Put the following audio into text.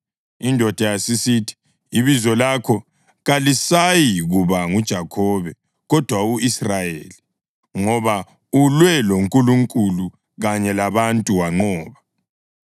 Indoda yasisithi, “Ibizo lakho kalisayikuba nguJakhobe, kodwa u-Israyeli, ngoba ulwe loNkulunkulu kanye labantu wanqoba.”